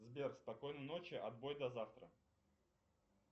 сбер спокойной ночи отбой до завтра